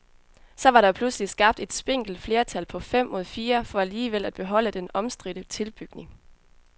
Så var der pludselig skabt et spinkelt flertal på fem mod fire for alligevel at beholde den omstridte tilbygning.